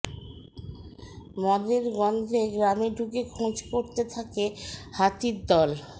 মদের গন্ধে গ্রামে ঢুকে খোঁজ করতে থাকে হাতির দল